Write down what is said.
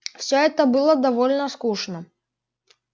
все это было довольно скучно